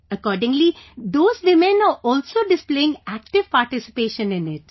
Accordingly, those women are also displaying active participation in it